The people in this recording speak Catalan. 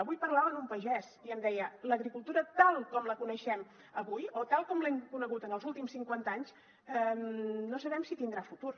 avui parlava amb un pagès i em deia l’agricultura tal com la coneixem avui o tal com l’hem conegut en els últims cinquanta anys no sabem si tindrà futur